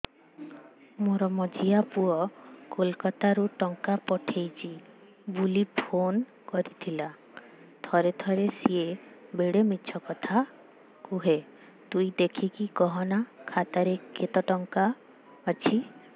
ମୋର ମଝିଆ ପୁଅ କୋଲକତା ରୁ ଟଙ୍କା ପଠେଇଚି ବୁଲି ଫୁନ କରିଥିଲା ଥରେ ଥରେ ସିଏ ବେଡେ ମିଛ କଥା କୁହେ ତୁଇ ଦେଖିକି କହନା ଖାତାରେ କେତ ଟଙ୍କା ଅଛି